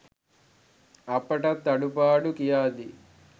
අපටත් අඩුපාඩු කියාදී